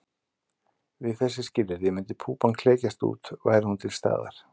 Við þessi skilyrði myndi púpan klekjast út væri hún til staðar.